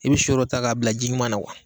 I be so dɔ ta k'a bila ji ɲuman na wa